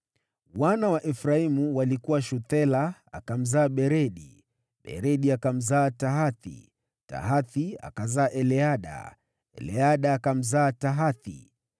Wana wa Efraimu walikuwa: Shuthela, ambaye alimzaa Beredi, Beredi akamzaa Tahathi, Tahathi akazaa Eleada, Eleada akamzaa Tahathi,